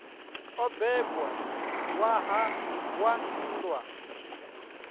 o bebwa ṋwaha wa nndwa